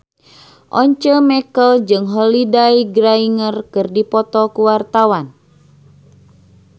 Once Mekel jeung Holliday Grainger keur dipoto ku wartawan